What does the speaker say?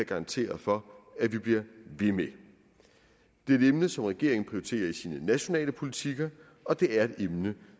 garantere for at vi bliver ved med det er et emne som regeringen prioriterer i sine nationale politikker og det er et emne